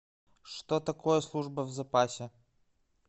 что такое служба в запасе